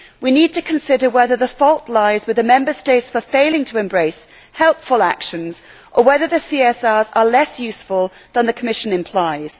We need to consider whether the fault lies with the Member States for failing to embrace helpful actions or whether the CSRs are less useful than the Commission implies.